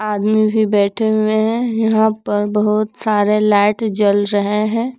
आदमी भी बैठे हुए हैं यहां पर बहुत सारे लाइट जल रहे हैं।